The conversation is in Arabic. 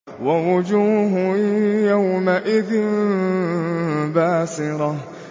وَوُجُوهٌ يَوْمَئِذٍ بَاسِرَةٌ